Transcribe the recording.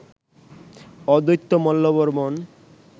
অদ্বৈত মল্লবর্মণ